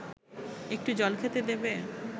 একটু জল খেতে দেবে